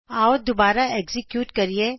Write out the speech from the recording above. ਆਉ ਦੁਬਾਰਾ ਐਕਜ਼ੀਕਯੂਟ ਕਰੀਏ